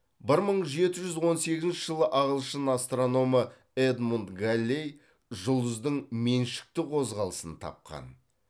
бір мың жеті жүз он сегізінші жылы ағылшын астрономы эдмунд галлей жұлдыздың меншікті қозғалысын тапқан